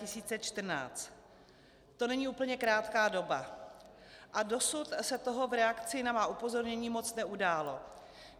To není úplně krátká doba a dosud se toho v reakci na má upozornění moc neudálo.